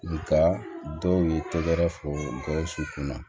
Nka dɔw ye tɛgɛrɛ fɔ gawusu kunna